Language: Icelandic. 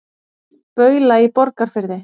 Baula í Borgarfirði.